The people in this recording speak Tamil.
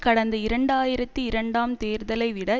கடந்த இரண்டு ஆயிரத்தி இரண்டாம் தேர்தலை விட